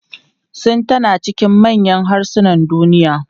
Sin tana cikin manyan harsunan duniya.